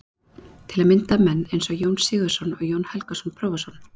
Til að mynda menn eins og Jón Sigurðsson og Jón Helgason prófessor.